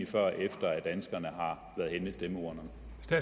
før efter danskerne har været henne ved stemmeurnerne